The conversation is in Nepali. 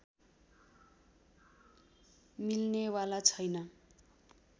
मिल्नेवाला छैन